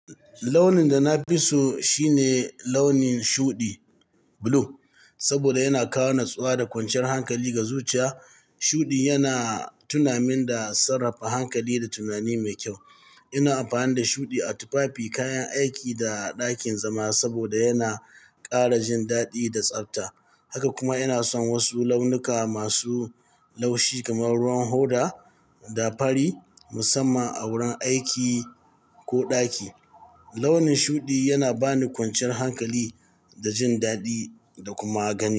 Launin da na fi so shi ne launin shuɗi, blue. Saboda yana kawo natsuwa da kwanciyar hankali ga zuciya. Shuɗi yana tunamin da sarrafa hankali da tunani mai kyau. Ina amfani da shuɗi a tufafi, kayan aiki da ɗakin zama saboda yana ƙara jin daɗi da tsabta. Haka kuma ina son wasu launuka masu laushi kamar ruwan hoda da fari musamman a wurin aiki ko ɗaki. Launin shuɗi yana ba ni kwanciyar hankali da jin daɗi da kuma gani.